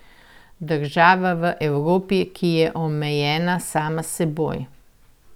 Država v Evropi, ki je omejena sama s seboj.